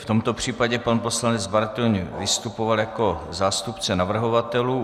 V tomto případě pan poslanec Bartoň vystupoval jako zástupce navrhovatelů.